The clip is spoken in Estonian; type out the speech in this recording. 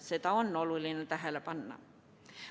Seda on oluline tähele panna.